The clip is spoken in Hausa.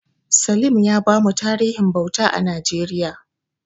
Salim ya bamu tarihin bauta a Najeriya.